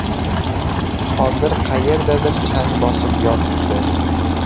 Hozir qayerdadir chang bosib yotibdi.